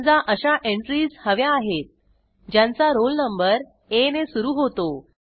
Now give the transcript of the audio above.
समजा अशा एंट्रीज हव्या आहेत ज्यांचा रोल नंबर आ ने सुरू होतो